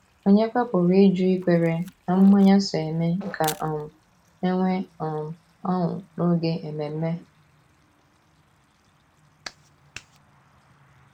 Ònyekwa pụrụ ịjụ ikwere na mmanya so eme ka um e nwee um ọṅụ n’oge ememe?